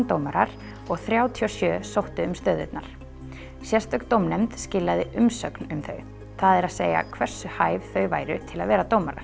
dómarar og þrjátíu og sjö sóttu um stöðurnar sérstök dómnefnd skilaði umsögn um þau það er að segja hversu hæf þau væru til að vera dómarar